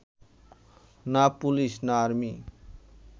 না পুলিশ, না আর্মি